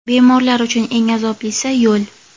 Bemorlar uchun eng azoblisi – yo‘l.